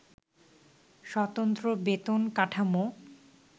স্বতন্ত্র বেতন কাঠামো